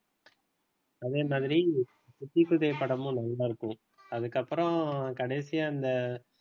அதே மாதிரி தித்திக்குதே படமும் நல்லா இருக்கும். அதுக்கு அப்புறம் கடைசியா, இந்த